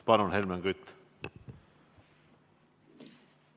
Palun, Helmen Kütt!